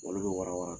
Olu bɛ wara wara